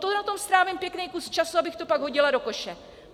To na tom strávím pěkný kus času, abych to pak hodila do koše!